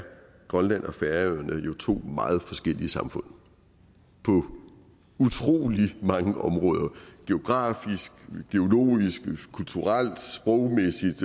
grønland og færøerne jo to meget forskellige samfund på utrolig mange områder geografisk geologisk kulturelt sprogmæssigt